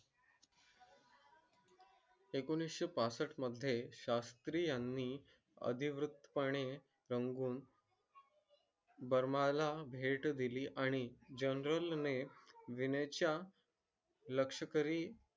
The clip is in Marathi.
एकोणीस पासष्ट मध्ये शास्त्री यांनी अधिकृतपणे रंगून. बर्मा ला भेट दिली आणि जनरल नाही विनय च्या. लष्करी